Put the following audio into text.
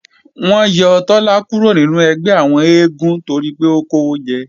Wọ́n yọ Tọ́lá kúrò nínú ẹgbẹ́ àwọn eégún toripé ó kówó jẹ